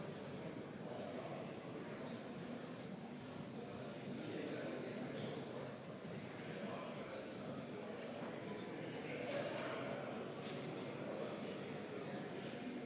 Peaminister on Kaja Kallas.